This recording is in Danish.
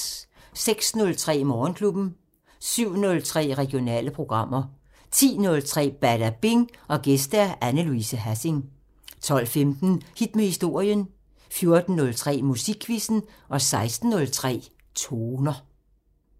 06:03: Morgenklubben 07:03: Regionale programmer 10:03: Badabing: Gæst Anne Louise Hassing 12:15: Hit med historien 14:03: Musikquizzen 16:03: Toner